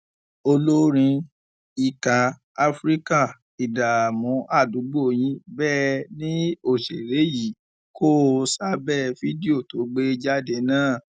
olórin ìka afrika ìdààmú àdúgbò yín bẹẹ ni òṣèré yìí kó o sábẹ fídíò tó gbé jáde náà